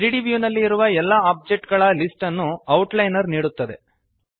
3ದ್ ವ್ಯೂನಲ್ಲಿ ಇರುವ ಎಲ್ಲ ಒಬ್ಜೆಕ್ಟ್ಗಳ ಲಿಸ್ಟ್ ನ್ನು ಔಟ್ಲೈನರ್ ನೀಡುತ್ತದೆ